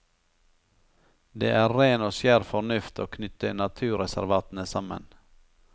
Det er ren og skjær fornuft å knytte naturreservatene sammen.